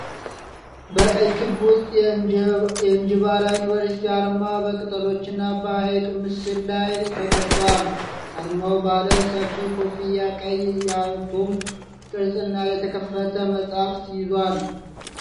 በቀይ ክብ ውስጥ የእንጂባራ ዩኒቨርሲቲ አርማ በቅጠሎችና በሀይቅ ምስል ላይ ተቀርጿል። አርማው ባለ ሰፊ ኮፍያ፣ ቀይ የአቶም ቅርጽ እና የተከፈተ መጽሐፍ ይዟል፡፡